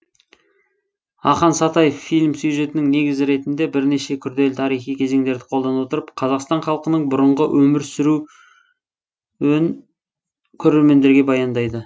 ақан сатаев фильм сюжетінің негізі ретінде бірнеше күрделі тарихи кезеңдерді қолдана отырып қазақстан халқының бұрынғы өмір сүруің көрермендерге баяндайды